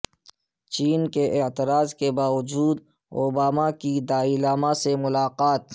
چین کے اعتراض کے باوجود اوباما کی دلائی لاما سے ملاقات